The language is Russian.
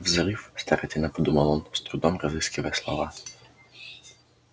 взрыв старательно подумал он с трудом разыскивая слова